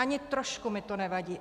Ani trošku mi to nevadí.